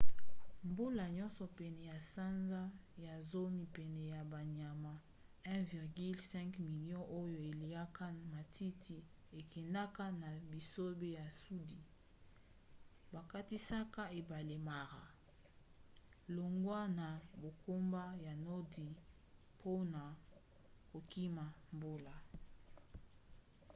mbula nyonso pene ya sanza ya zomi pene ya banyama 1,5 milio oyo eliaka matiti ekendaka na bisobe ya sudi bakatisaka ebale mara longwa na bangomba ya nordi mpona kokima bambula